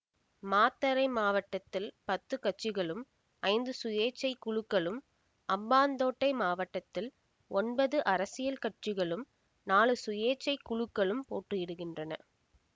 மாத்தறை மாவட்டத்தில் பத்து கட்சிகளும் ஐந்து சுயேச்சை குழுக்களும் அம்பாந்தோட்டை மாவட்டத்தில் ஒன்பது அரசியல் கட்சிகளும் நாலு சுயேச்சை குழுக்களும் போட்டியிடுகின்றன